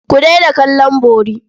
Ku daina kallon bori.